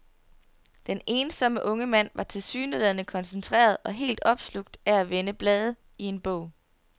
Den ensomme unge mand var tilsyneladende koncentreret og helt opslugt af at vende blade i en bog.